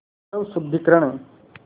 स्वशुद्धिकरण